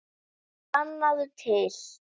Sannaðu til.